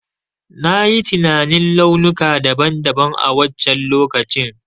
Na yi tinanin launuka daban daban a wancen lokacin.